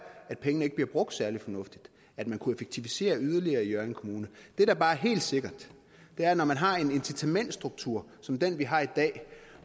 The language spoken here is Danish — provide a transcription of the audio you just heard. at pengene ikke bliver brugt særlig fornuftigt og at man kunne effektivisere yderligere i hjørring kommune det der bare er helt sikkert er at når man har en incitamentsstruktur som den vi har i dag